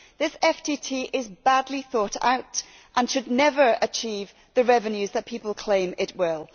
This FTT is badly thought out and would never achieve the revenues that people claim it will.